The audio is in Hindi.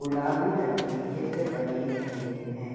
गुलाबी रंग के चित्र बने हुए है।